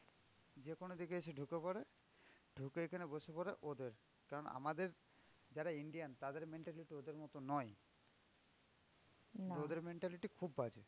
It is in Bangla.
যেকোনো দিকে এসে ঢুকে পরে ঢুকে এখানে বসে পরে ওদের কারণ আমাদের যারা Indian তাদের mentality ওদের মতো নয়। কিন্তু ওদের mentality খুব বাজে।